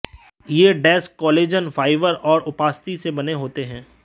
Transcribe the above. ये disk collagen fibre और उपास्थि से बने होते हैं